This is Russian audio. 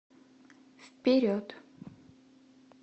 вперед